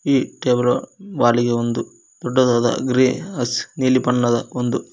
ಈ ಟೇಬ್ರೊ ವಾಲಿಗೆ ಒಂದು ದೊಡ್ಡದಾದ ಗ್ರೇ ಹಸ್ ನೀಲಿ ಬಣ್ಣದ ಒಂದು--